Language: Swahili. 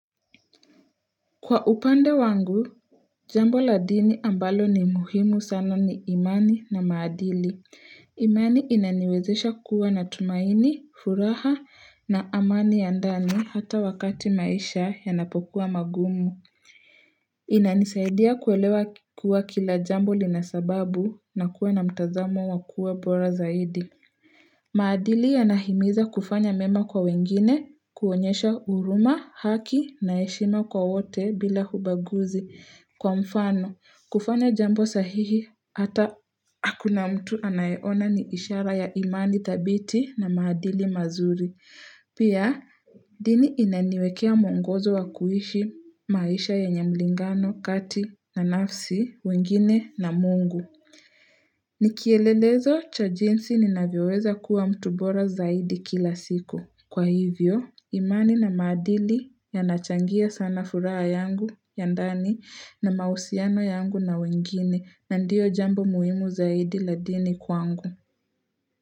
Kwa upande wangu, jambo la dini ambalo ni muhimu sana ni imani na maadili. Imani inaniwezesha kuwa na tumaini, furaha na amani ya ndani hata wakati maisha yanapokua magumu. Inanisaidia kuelewa kuwa kila jambo linasababu na kuwa na mtazamo wakua bora zaidi. Maadili yanahimiza kufanya mema kwa wengine, kuonyesha huruma, haki na heshima kwa wote bila ubaguzi kwa mfano. Kufanya jambo sahihi, hata hakuna mtu anayeona ni ishara ya imani dhabiti na maadili mazuri. Pia, dini inaniwekea mwongozo wa kuishi, maisha yenye mlingano, kati na nafsi, wengine na mungu. Nikielelezo cha jinsi ninavyoweza kuwa mtu bora zaidi kila siku. Kwa hivyo, imani na maadili yanachangia sana furaha yangu, ya ndani na mahusiano yangu na wengine na ndiyo jambo muhimu zaidi la dini kwangu.